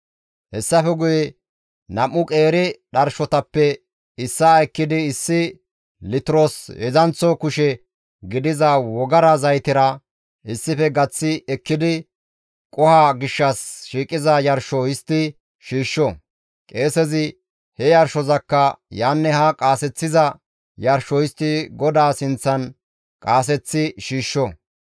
«Hessafe guye nam7u qeeri dharshotappe issaa ekkidi issi litiros heedzdzanththo kushe gidiza wogara zaytera issife gaththi ekkidi qoho gishshas shiiqiza yarsho histti shiishsho; qeesezi he yarshozakka yaanne haa qaaseththiza yarsho histti GODAA sinththan qaaseththi shiishsho.